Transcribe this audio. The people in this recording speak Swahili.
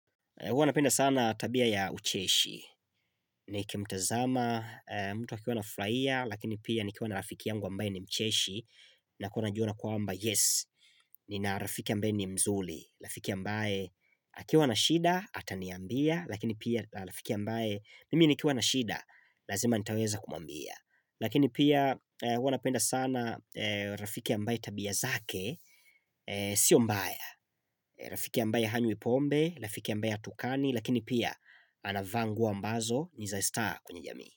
Huwa napenda sana tabia ya ucheshi. Nikimtazama mtu akiwa anafurahia, lakini pia nikiwa na rafiki yangu ambaye ni mcheshi, na kuona najua kwamba yes, nina rafiki ambaye ni mzuri. Rafiki ambaye akiwa na shida, ataniambia, lakini pia rafiki ambaye, mimi nikiwa na shida lazima nitaweza kumwambia. Lakini pia huwa napenda sana, rafiki ambaye tabia zake Sio mbaya. Rafiki ambaye hanywi pombe. Rafiki ambaye hatukani lakini pia anavaa nguo ambazo niza estaa kwenye jamii.